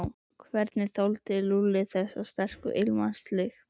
Hvernig þoldi Lúlli þessa sterku ilmvatnslykt.